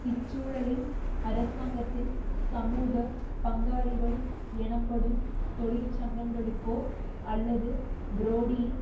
இச்சூழலில் அரசாங்கத்தின் சமூக பங்காளிகள் எனப்படும் தொழிற்சங்கங்களுக்கோ அல்லது புரோடியின்